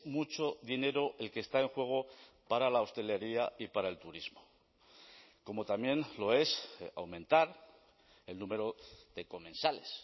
mucho dinero el que está en juego para la hostelería y para el turismo como también lo es aumentar el número de comensales